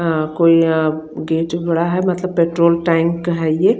अ कोई यहाँ गेच हो रहा है मतलब पेट्रोल टाइप का है ये --